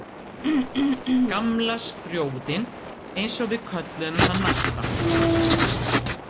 Gamla skrjóðinn, eins og við kölluðum hann alltaf.